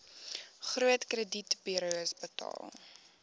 groot kredietburos betaal